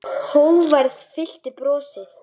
Hógværð fyllti brosið.